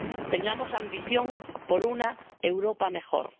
Tengamos ambición por una Europa mejor.